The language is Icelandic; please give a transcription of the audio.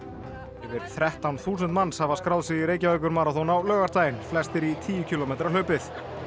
yfir þrettán þúsund manns hafa skráð sig í Reykjavíkurmaraþon á laugardaginn flestir í tíu kílómetra hlaupið